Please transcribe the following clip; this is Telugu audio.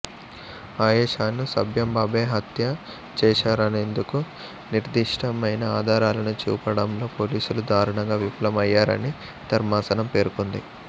ఆయేషాను సత్యంబాబే హత్య చేశారనేందుకు నిర్దిష్టమైన ఆధారాలను చూపడంలో పోలీసులు దారుణంగా విఫలమయ్యారని ధర్మాసనం పేర్కొంది